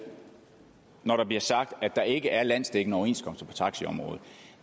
når der bliver sagt at der ikke er landsdækkende overenskomster på taxiområdet